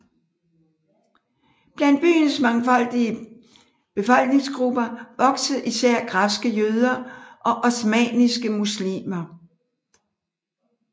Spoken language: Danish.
Blandt byens mangfoldige befolkningsgrupper voksede især græske jøder og osmanniske muslimer